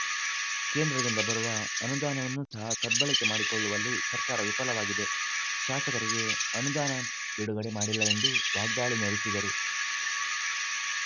ಕೇಂದ್ರದಿಂದ ಬರುವ ಅನುದಾನವನ್ನು ಸಹ ಸದ್ಬಳಕೆ ಮಾಡಿಕೊಳ್ಳುವಲ್ಲಿ ಸರ್ಕಾರ ವಿಫಲವಾಗಿದೆ ಶಾಸಕರಿಗೆ ಅನುದಾನ ಬಿಡುಗಡೆ ಮಾಡಿಲ್ಲ ಎಂದು ವಾಗ್ದಾಳಿ ನಡೆಸಿದರು